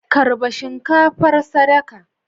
Karba shinkafar sadaka